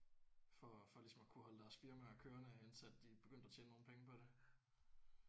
For for ligesom at kunne holde deres firmaer kørende intil at de begyndte at tjene nogle penge på det